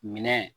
Minɛn